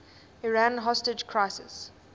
iran hostage crisis